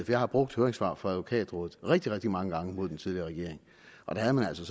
jeg har brugt høringssvar fra advokatrådet rigtig rigtig mange gange mod den tidligere regering og da havde man altså